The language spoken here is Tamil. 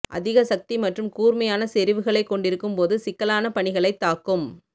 அதிக சக்தி மற்றும் கூர்மையான செறிவுகளைக் கொண்டிருக்கும் போது சிக்கலான பணிகளைத் தாக்கும்